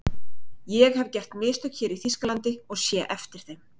ÉG hef gert mistök hér í Þýskalandi og sé eftir þeim.